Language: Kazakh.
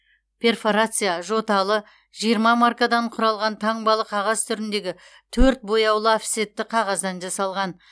перфорация жоталы жиырма маркадан құралған таңбалы қағаз түріндегі төрт бояулы офсетті қағаздан жасалған